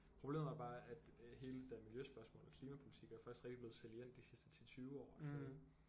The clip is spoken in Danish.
Problemet er bare at øh hele det der miljøspørgsmål og klimapolitiker er først rigtig blevet salient de sidste 10 20 år